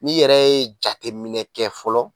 Ni yɛrɛ ye jateiminɛ kɛ fɔlɔ